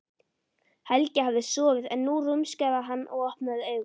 Helgi hafði sofið en nú rumskaði hann og opnaði augun.